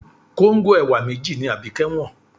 Kóńgò ẹ̀wà méjì ni Abike wọ́n.